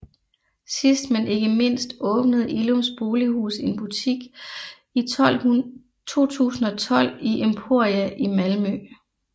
Sidst men ikke mindst åbnede Illums Bolighus en butik i 2012 i Emporia i Malmö